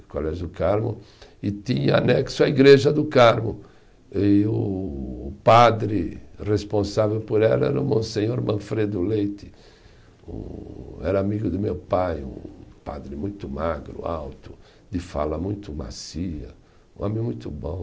o Colégio do Carmo, e tinha anexo a Igreja do Carmo, e o o padre responsável por ela era o Monsenhor Manfredo Leite, hum era amigo do meu pai, um padre muito magro, alto, de fala muito macia, um homem muito bom.